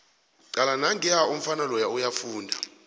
cala nangiya umfana loya uyafunda